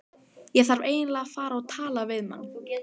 Ég þarf eiginlega að fara og tala við mann.